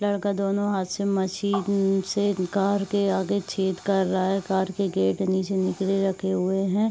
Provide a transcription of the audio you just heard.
लड़का दोनों हाथ से मशीन से कार के आगे छेद कर रहा है। कार के गेट नीचे निकरे रखे हुए हैं।